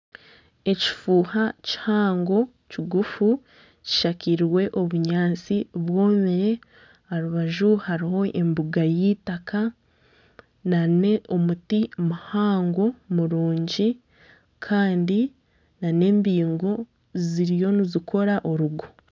Ekifuuha kihango kigufu kishakairwe obunyatsi bwomire aharubaju hariho embuga y'eitaka nana omuti muhango murungi Kandi nana embingo ziriyo nizikora orugo.